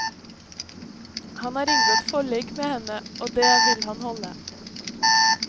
Han har inngått forlik med henne, og det vil han holde.